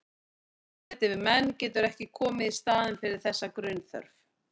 Samneyti við menn getur ekki komið í staðinn fyrir þessa grunnþörf.